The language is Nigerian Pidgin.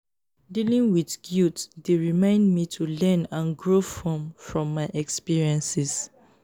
dealing with guilt dey remind me to learn and grow from from my experiences.